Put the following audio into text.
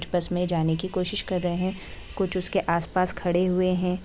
बस में जाने की कोशिश कर रहे है कुछ उसके आस-पास खड़े हुए है।